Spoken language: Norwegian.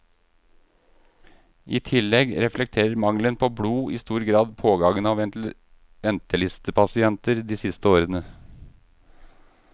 I tillegg reflekterer mangelen på blod i stor grad pågangen av ventelistepasienter de siste årene.